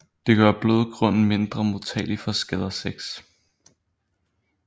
Det gør blødgrunden mindre modtagelig for skader6